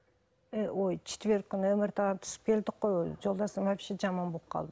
і ой четверг күні мрт ға түсіп келдік қой өзі жолдасым вообще жаман болып қалды